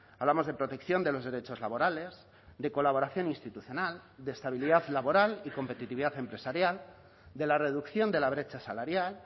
hablamos de protección de los derechos laborales de colaboración institucional de estabilidad laboral y competitividad empresarial de la reducción de la brecha salarial